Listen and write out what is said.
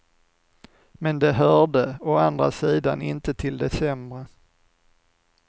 Men de hörde, å andra sidan, inte till de sämre.